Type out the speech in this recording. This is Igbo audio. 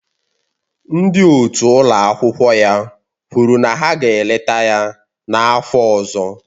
Ndị otu ụlọ akwụkwọ ya kwuru na ha ga-eleta ya n'afọ ọzọ